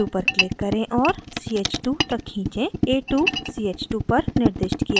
a2 पर click करें और ch2 तक खींचें a2 ch2 पर निर्दिष्ट किया जाता है